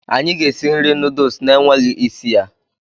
anyị ga-esi nri noodles na-enweghị isi ya.